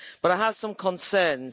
But I have some concerns.